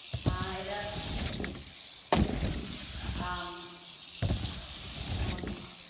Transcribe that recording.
ஹம் ஏதாவத ஆமா ஆமா.